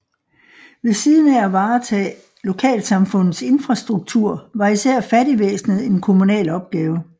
Ved siden af at varetage lokalsamfundets infrastruktur var især fattigvæsenet en kommunal opgave